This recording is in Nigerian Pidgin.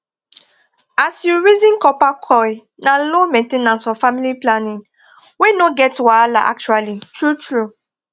as u reason copper coil na low main ten ance for family planning wey no get wahala actually true true